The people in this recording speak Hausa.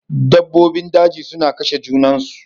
Dabbobin daji suna kashe junansu.